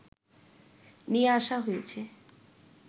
নিয়ে আসা হয়েছে